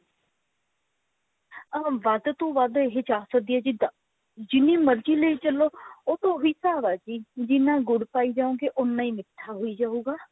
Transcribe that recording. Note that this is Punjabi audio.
ਅਹ ਵੱਧ ਤੋਂ ਵੱਧ ਇਹ ਚਾਰ ਸੋ ਦੀ ਹੈ ਜਿੱਦਾ ਜਿੰਨੀ ਮਰਜੀ ਲਈ ਚੱਲੋ ਉਹ ਤਾਂ ਉਹੀ ਹਿਸਾਬ ਹੈ ਜੀ ਜਿੰਨਾ ਗੁੜ ਪਾਈ ਜਾਓਗੇ ਉੰਨਾ ਮਿੱਠਾ ਹੋਈ ਜਾਉਗਾ